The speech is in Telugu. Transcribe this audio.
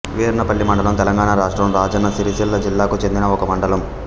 వీర్నపల్లి మండలం తెలంగాణ రాష్ట్రం రాజన్న సిరిసిల్ల జిల్లాకు చెందిన ఒక మండలం